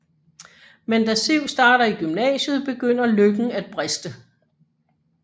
Men da Siv starter i gymnasiet begynder lykken at briste